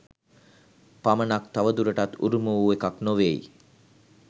පමණක් තවදුරටත් උරුම වූ එකක් නොවේයි.